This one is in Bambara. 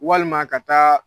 Walima ka taa